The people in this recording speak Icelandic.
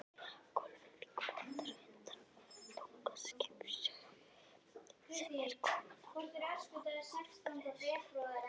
Gólfið kvartar undan þunga skipstjórans sem er kominn að afgreiðsluborð